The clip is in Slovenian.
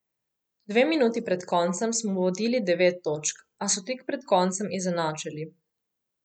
Dve minuti pred koncem smo vodili devet točk, a so tik pred koncem izenačili.